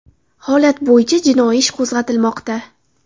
Holat bo‘yicha jinoiy ish qo‘zg‘atilmoqda.